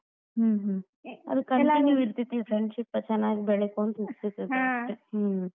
ಹ್ಮ್‌ ಹ್ಮ್‌ ಇರ್ತೇತಿ friendship ಚನ್ನಾಗಿ ಬೆಳಕೊಂತ ಇರ್ತೇತಿ ಹ್ಮ್‌.